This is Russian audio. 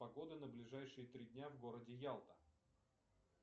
погода на ближайшие три дня в городе ялта